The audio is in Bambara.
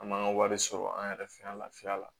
An man ka wari sɔrɔ an yɛrɛ fɛ yan lafiya la